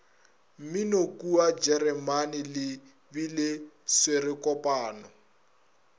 mminokua jeremane le bele swerekopano